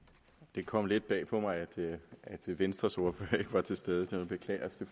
det kom lidt bag på mig at venstres ordfører ikke var til stede jeg beklager